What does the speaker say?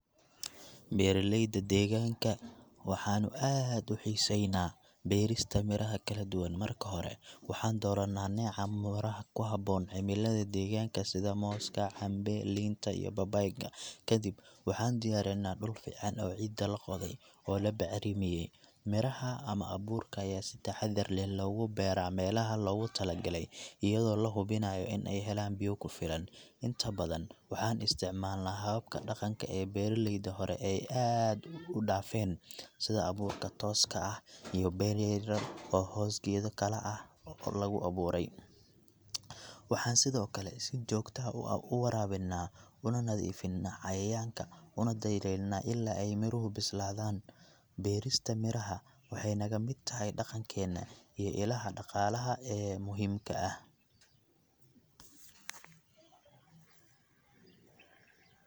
Beeraleyda deegaanka waxaanu aad u xiiseeynaa beerista miraha kala duwan. Marka hore, waxaan doorannaa nooca miraha ku habboon cimilada deegaanka sida mooska, cambe, liinta, iyo babaayga. Ka dib, waxaan diyaarinnaa dhul fiican oo ciidda la qoday oo la bacramiyey. Miraha ama abuurka ayaa si taxaddar leh loogu beeraa meelaha loogu talagalay iyadoo la hubinayo in ay helaan biyo ku filan. Inta badan, waxaan isticmaalnaa hababka dhaqanka ee beeralayda hore ay aad u dhaafeen, sida abuurka tooska ah iyo beer yar yar oo hoos geedo kale ah oo lagu abuuray. Waxaan sidoo kale si joogto ah u waraabinnaa, una nadiifinnaa cayayaanka, una daryeelnaa ilaa ay miruhu bislaadaan. Beerista miraha waxay naga mid tahay dhaqankeena iyo ilaha dhaqaalaha ee muhiimka ah.